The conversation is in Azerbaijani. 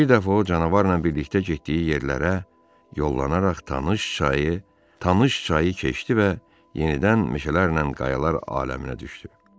Bir dəfə o canavarla birlikdə getdiyi yerlərə, yollanaraq tanış çayı, tanış çayı keçdi və yenidən meşələrlə qayalar aləminə düşdü.